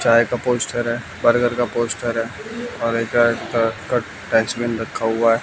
चाय का पोस्टर हैं बर्गर का पोस्टर हैं और एक ड ट डस्टबिन रखा हुआ है।